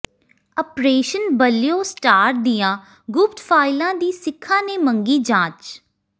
operation blue star ਦੀਆਂ ਗੁਪਤ ਫਾਈਲਾਂ ਦੀ ਸਿੱਖਾਂ ਨੇ ਮੰਗੀ ਜਾਂਚ